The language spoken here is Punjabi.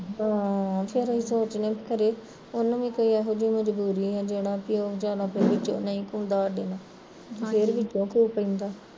ਹਾਂ ਇਹੋ ਸੋਚਨੇ ਵੀ ਖਰੇ ਉਹਨੂੰ ਵੀ ਕੋਈ ਇਹੋ ਜਹੀ ਮਜ਼ਬੂਰੀ ਆ ਵੀ ਜਿਹੜਾ ਵਿਚਾਰ ਨਹੀਂ ਘੁਲਦਾ ਸਾਡੇ ਨਾਲ਼ ਫਿਰ ਵਿੱਚੋਂ ਘੁਲ ਪੈਂਦਾ